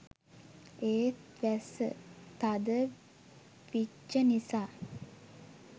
ඒත් වැස්ස තද විච්ච නිසා